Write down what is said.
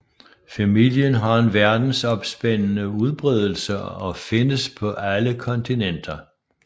Familien har en verdensomspændende udbredelse og findes på alle kontinenter